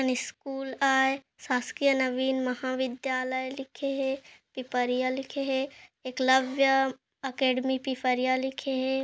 School आए शासकीय नवीन महाविद्यालय लिखे हेे की परिया लिखे हे एकलव्य अकेडमी पईफरिया लिखे हे।